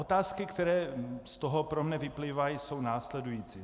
Otázky, které z toho pro mne vyplývají, jsou následující.